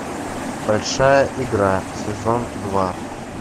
большая игра сезон два